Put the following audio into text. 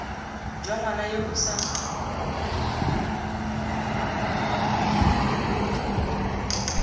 jwa ngwana yo o sa